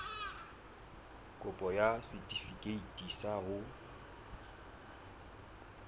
kopo ya setefikeiti sa ho